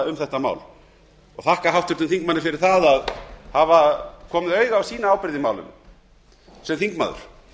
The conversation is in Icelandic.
um þetta mál og þakka háttvirtum þingmanni fyrir að hafa komið auga á ábyrgð sína í málinu sem þingmaður